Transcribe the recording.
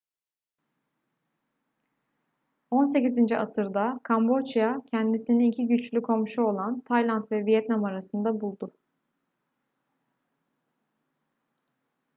18. asırda kamboçya kendisini iki güçlü komşu olan tayland ve vietnam arasında buldu